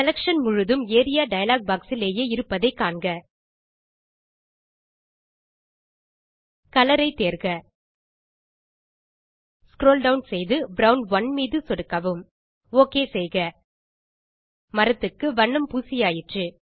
selection முழுதும் area dialog box இலேயே இருப்பதை காண்க கலர் ஐ தேர்க ஸ்க்ரோல் டவுன் செய்து ப்ரவுன் 1 மீது சொடுக்கவும் ஒக் செய்க மரத்துக்கு வண்ணம் பூசியாயிற்று